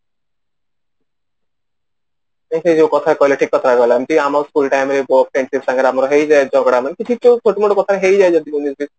ଏ ସେ ଯୋଉ କଥା କହିଲେ ଠିକ କଥା କହିଲେ ଏମିତି ଆମର full time ରେ ଝଗଡା ମାନେ କିଛି ଛୋଟ ବଡ କଥାରେ ହେଇଯାଏ ଯଦିଓ